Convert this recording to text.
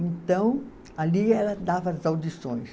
Então, ali ela dava as audições.